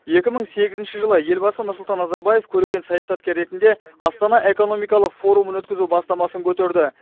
екі мың сегізінші жылы елбасы нұрсұлтан назарбаев көреген саясаткер ретінде астана экономикалық форумын өткізу бастамасын көтерді